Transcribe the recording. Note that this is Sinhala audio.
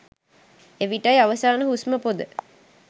එවිටයි අවසාන හුස්ම පොඳ